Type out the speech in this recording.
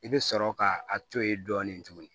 I bɛ sɔrɔ ka a to yen dɔɔnin tuguni